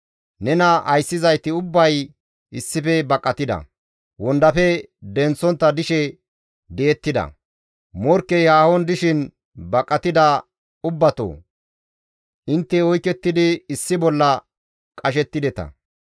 Nena ayssizayti ubbay issife baqatida; wondafe denththontta dishe di7ettida; morkkey haahon dishin baqatida ubbatoo! Intte oykettidi issi bolla qashettideta.